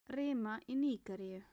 Rima í Nígeríu